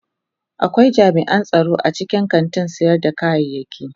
Akwai jami'an tsaro a cikin kantin sayar da kayaki.